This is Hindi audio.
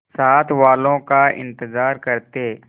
साथ वालों का इंतजार करते